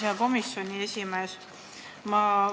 Hea komisjoni esimees!